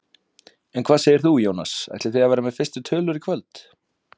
En hvað segir þú Jónas, ætlið þið að vera með fyrstu tölur í kvöld?